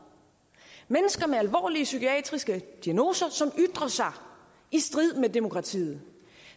mennesker med alvorlige psykiatriske diagnoser som ytrer sig i strid med demokratiet